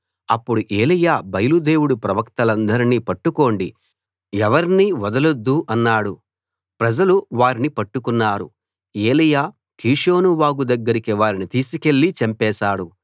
అప్పుడు ఏలీయా బయలు దేవుడి ప్రవక్తలందర్నీ పట్టుకోండి ఎవర్నీ వదలొద్దు అన్నాడు ప్రజలు వారిని పట్టుకున్నారు ఏలీయా కీషోను వాగు దగ్గరికి వారిని తీసికెళ్ళి చంపేశాడు